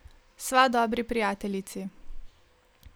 Sva dobri prijateljici.